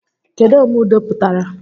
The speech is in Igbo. Kedụ omeudo pụtara?